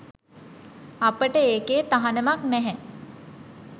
අපට ඒකෙ තහනමක් නැහැ